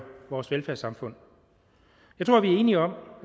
vores velfærdssamfund jeg tror vi er enige om at